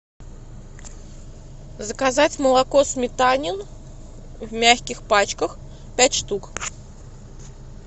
заказать молоко сметанин в мягких пачках пять штук